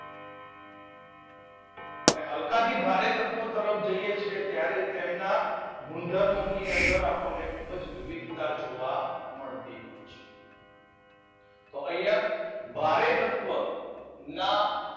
અને હલકાથી ભારે તત્વો તરફ જઈએ છીએ ત્યારે તેમના ગુણધર્મો ની અંદર ખૂબ જ આપડને વિસ્તાર જોવા મળશે. તો અહિયાં ભારે તત્વ ના